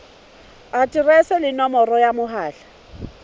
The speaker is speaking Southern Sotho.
aterese le nomoro ya mohala